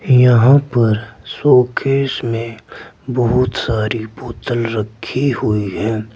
यहां पर शोकेस में बहुत सारी बोतल रखी हुई है।